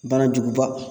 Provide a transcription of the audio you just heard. Banajuguba